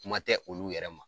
Kuma tɛ olu yɛrɛ ma.